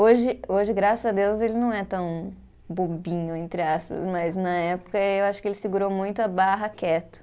Hoje, hoje graças a Deus, ele não é tão bobinho, entre aspas, mas na época eh, eu acho que ele segurou muito a barra quieto.